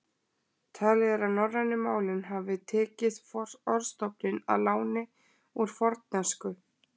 Talið er að norrænu málin hafi tekið orðstofninn að láni úr fornensku.